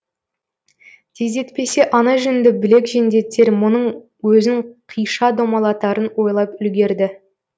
тездетпесе ана жүнді білек жендеттер мұның өзін қиша домалатарын ойлап үлгерді